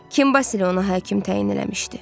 Kim Basilə onu həkim təyin eləmişdi?